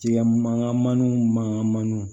Tigɛ mankanmaniw mankanmaniw